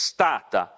stata.